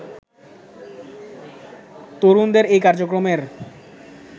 তরুণদের এই কার্যক্রমের